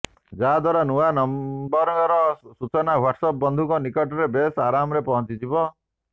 ଯାହାଦ୍ୱାରା ନୂଆ ନମ୍ବରର ସୂଚନା ହ୍ୱାଟସଆପ ବନ୍ଧୁଙ୍କ ନିକଟରେ ବେଶ ଆରାମରେ ପହଞ୍ଚିଯିବ